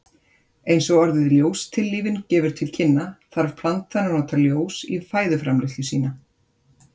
Eins og orðið ljóstillífun gefur til kynna, þarf plantan að nota ljós í fæðuframleiðslu sína.